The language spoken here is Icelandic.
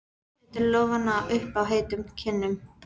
Setur lófana upp að heitum kinnunum.